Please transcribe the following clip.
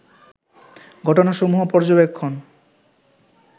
ঘটনাসমূহ পর্যবেক্ষণ